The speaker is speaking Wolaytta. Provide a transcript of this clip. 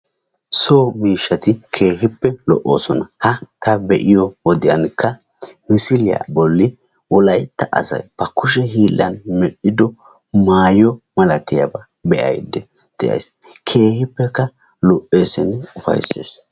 So mishshati keehippe lo"oosona. Ha ta be'iyo wodiyankka misiliya Bolli Wolaytta asay ba kushe hiillan medhido maayo malatiyaba be'ayidda de'ayis. Keehippekka lo"eesinne ufayisses.